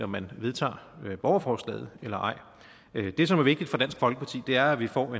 man vedtager borgerforslaget det som er vigtigt for dansk folkeparti er at vi får